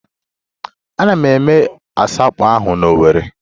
A na-eme asọmpi ahụ n'Owerri